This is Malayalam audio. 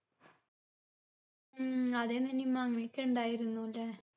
ഉം അതെ നനിമ്മ അങ്ങനെ ഒക്കെ ഇണ്ടായിരുന്നു ലെ